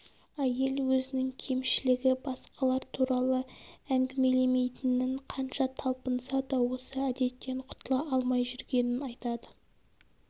әйел өзінің кемшілігі басқалар туралы әңгімелейтінін қанша талпынса да осы әдеттен құтыла алмай жүргенін айтады